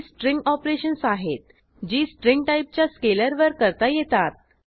ही string operations आहेत जी string टाईपच्या स्केलरवर करता येतात